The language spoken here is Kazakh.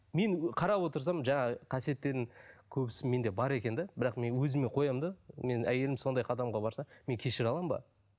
мен қарап отырсам жаңағы қасиеттердің көбісі менде бар екен де бірақ мен өзіме қоямын да менің әйелім сондай қадамға барса мен кешіре аламын ба